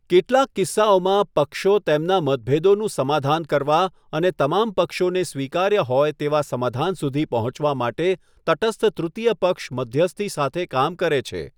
કેટલાક કિસ્સાઓમાં, પક્ષો તેમના મતભેદોનું સમાધાન કરવા અને તમામ પક્ષોને સ્વીકાર્ય હોય તેવા સમાધાન સુધી પહોંચવા માટે તટસ્થ તૃતીય પક્ષ મધ્યસ્થી સાથે કામ કરે છે.